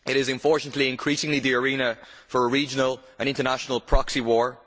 Unfortunately, it is increasingly the arena for a regional and international proxy war.